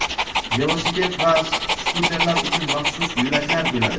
velosiped va skuterlar uchun maxsus yo‘laklar bo‘ladi.